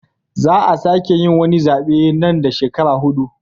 Za a sake yin wani zabe nan da shekaru hudu.